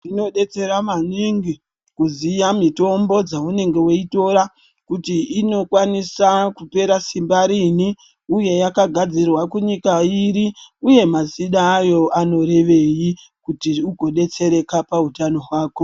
Zvinodetsera maningi kuziya mitombo dzaunenge weitora kuti inokwanisa kupera simba riini, uye yakagadzirwa kunyika iri, uye mazina ayo anorevei, kuti ugodetsereka pautano hwako.